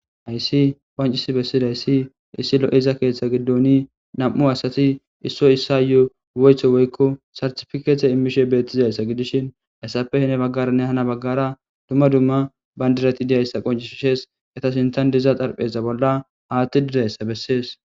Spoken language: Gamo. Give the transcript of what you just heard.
Haysi qoncisi bessiday si issi lo7iza keeththa giddoni nam7u asati issoy issa yo7 woyetho woykko sartifikeethe immishe beettizayssa gidishin hayssappe hine baggaranne hana baggara dumma dumma bayndirati diyayssa qoncishishees eta sintan diza xarpheza bolla haatti dirayssa bessees